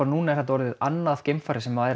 annað geimfarið sem